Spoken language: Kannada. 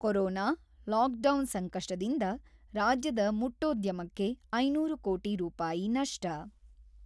ಕೊರೊನಾ, ಲಾಕ್‌ಡೌನ್ ಸಂಕಷ್ಟದಿಂದ ; ರಾಜ್ಯದ ಮುಟ್ಟೋದ್ಯಮಕ್ಕೆ ಐನೂರು ಕೋಟಿ ರೂಪಾಯಿ ನಷ್ಟ